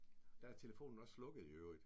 Der er telefonen også slukket i øvrigt